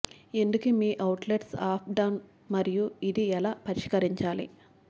ఎందుకు మీ outlets ups down మరియు ఇది ఎలా పరిష్కరించాలి